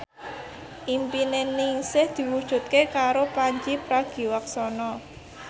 impine Ningsih diwujudke karo Pandji Pragiwaksono